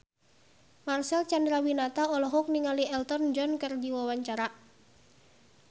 Marcel Chandrawinata olohok ningali Elton John keur diwawancara